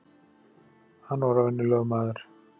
Hann var venjulegur maður.